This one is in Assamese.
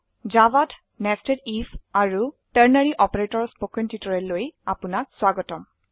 জাভাত nested আইএফ আৰু টাৰ্নাৰী অপাৰেটৰ ৰ স্পকেন টিউটোৰিয়েললৈ আপনাক স্বাগতম